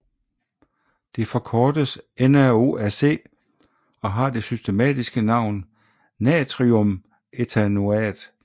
Det forkortes NaOAc og har det systematiske navn natriumethanoat